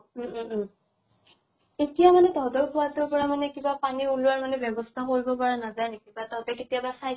উম উম উম । এতিয়া মানে তহঁতৰ কোঁৱা তোৰ পৰা পানী মানে কিবা পানী ওলোৱা ৰ মানে বেৱ্য়স্থা কৰিব পৰা নাজায় নেকি ? বা তহঁতে কেতিয়াবা খাই